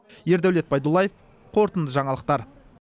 ердәулет байдуллаев қорытынды жаңалықтар